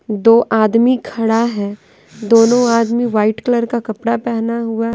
दो आदमी खड़ा है दोनों आदमी वाइट कलर का कपड़ा पहना हुआ--